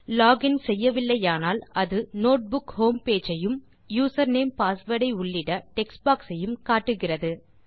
lock in செய்யவில்லையானால் அது notebook home page ஐயும் யூசர்நேம் பாஸ்வேர்ட் ஐ உள்ளிட டெக்ஸ்ட்பாக்ஸ் ஐயும் காட்டுகிறது